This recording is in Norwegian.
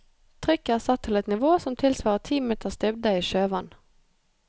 Trykket er satt til et nivå som tilsvarer ti meters dybde i sjøvann.